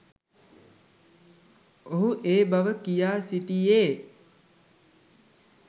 ඔහු ඒ බව කියා සිටියේ